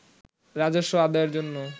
রাজস্ব আদায়ের জন্য